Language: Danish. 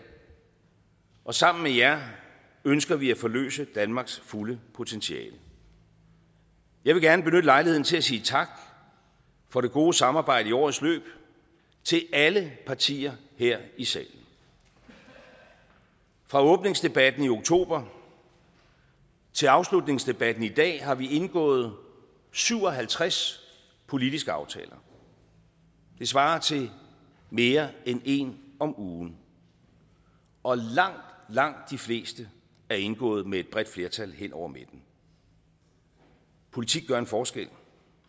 og sammen med jer ønsker vi at forløse danmarks fulde potentiale jeg vil gerne benytte lejligheden til at sige tak for det gode samarbejde i årets løb til alle partier her i salen fra åbningsdebatten i oktober til afslutningsdebatten i dag har vi indgået syv og halvtreds politiske aftaler det svarer til mere end en om ugen og langt langt de fleste er indgået med et bredt flertal hen over midten politik gør en forskel